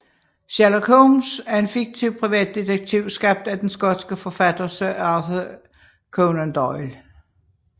Sherlock Holmes er en fiktiv privatdetektiv skabt af den skotske forfatter Sir Arthur Conan Doyle